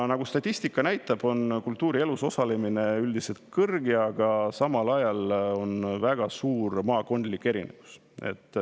Nagu statistika näitab, on kultuurielus osalemise üldiselt kõrge, aga siin on väga suured maakondlikud erinevused.